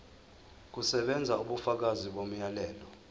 kusebenza ubufakazi bomyalelo